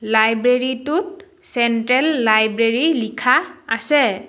Library টোত central library লিখা আছে।